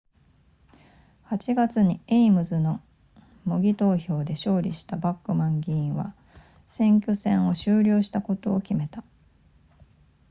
8月にエイムズの模擬投票で勝利したバックマン議員は選挙戦を終了することに決めた